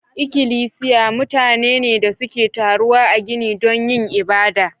Ikilisiya mutane ne da suke taruwa a gini don yin ibada.